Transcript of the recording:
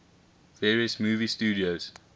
various movie studios